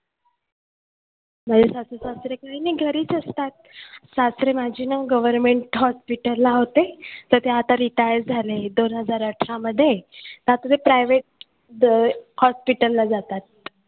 माझे सासू सासरे काही नाही घरीच असतात. सासरे माझे ना government hospital ला होते तर ते आता retired झाले दोन हजार अठरामध्ये आता ते private अं hospital ला जातात.